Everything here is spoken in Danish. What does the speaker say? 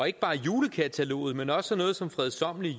ikke bare julekataloget men også noget så fredsommeligt